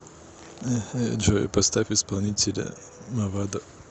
джой поставь исполнителя мавадо